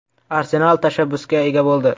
“Arsenal” tashabbusga ega bo‘ldi.